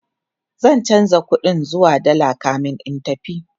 zan chanza ƙuɗin zuwa dalla kamin in tafi